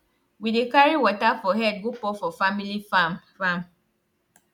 we dey carry water for head go pour for family farm farm